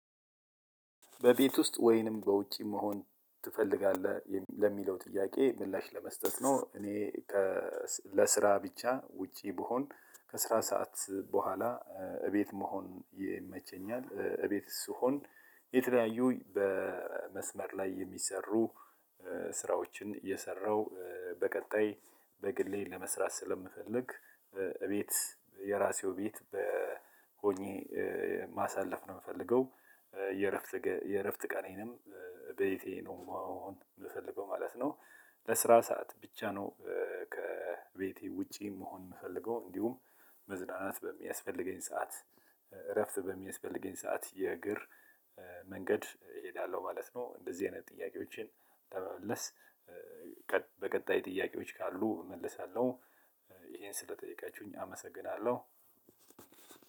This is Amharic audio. በቤት ውስጥ ወይንም በውጪ መሆን ትፈልጋለህ ለሚለው ጥያቄ ምላሽ ለመስጠት ነው። እኔ ለስራ ብቻ ውጪ ብሆን ከስራ ሰዓት በኋላ እቤት መሆን ይመቸኛል። እቤት ስሆን የተለያዩ በመስመር ላይ የሚሰሩ ስራዎችን እየሰራው በቀጣይ በግሌ ለመስራት ስለምፈልግ እቤት የራሴው ቤት በሆኜ ማሳለፍ ነው የምፈልገው። የእረፍት የእረፍት ቀኔንም ቤቴ ነው መሆን የምፈልገው ማለት ነው። ለስራ ሰዓት ብቻ ነው ከቤቴ ውጪ መሆን የምፈልገው። እንዲሁም መዝናናት በሚያስፈልገኝ ሰዓት እረፍት በሚያስፈልገኝ ሰዓት የእግር መንገድ እሄዳለሁ ማለት ነው። እንደዚህ አይነት ጥያቄዎችን ለመመለስ በቀጣይ ጥያቄዎች ካሉ እመለሳለሁ። ይሄን ስለጠየቃችሁኝ አመሰግናለሁ።